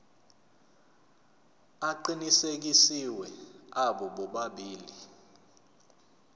aqinisekisiwe abo bobabili